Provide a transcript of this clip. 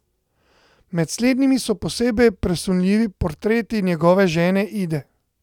Med slednjimi so posebej presunljivi portreti njegove žene Ide.